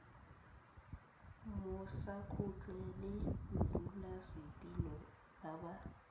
mmusakgotla le modulasetilo ba ba